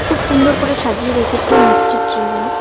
খুব সুন্দর করে সাজিয়ে রেখেছে এই মিষ্টির ট্রে গুলি।